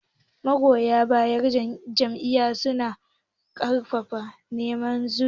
magoya bayan Jam'iyyar NRC suna yakin neman zaɓe